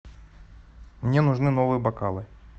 мне нужны новые бокалы